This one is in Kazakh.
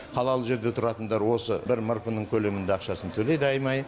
қалалық жерде тұратындар осы бір мрп ның көлемінде ақшасын төлейді айма ай